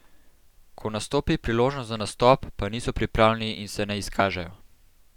Ko nastopi priložnost za nastop, pa niso pripravljeni in se ne izkažejo.